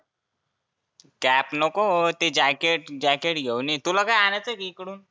cap नको ते jacket jacket घेऊन ये तुला काही आनायचं आहे का इकडुन?